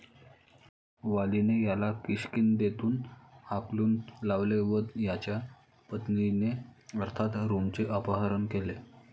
वालीने याला किष्किंधेतून हाकून लावले व याच्या पत्नीचे अर्थात रूमचे अपहरण केले.